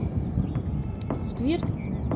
сквирт